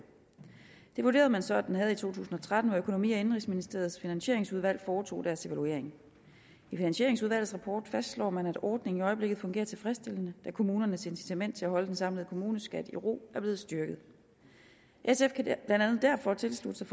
det vurderede man så at den havde i to tusind og tretten hvor økonomi og indenrigsministeriets finansieringsudvalg foretog deres evaluering i finansieringsudvalgets rapport fastslår man at ordningen i øjeblikket fungerer tilfredsstillende da kommunernes incitament til at holde den samlede kommuneskat i ro er blevet styrket sf kan blandt andet derfor tilslutte sig